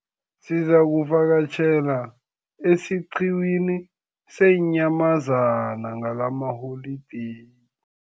Sizakuvakatjhela esiqhiwini seenyamazana ngalamaholideyi.